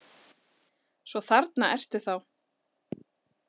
Svo þarna ertu þá!